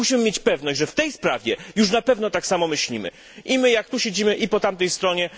Musimy mieć pewność, że w tej sprawie już na pewno tak samo myślimy i my, jak tu siedzimy, i po tamtej stronie.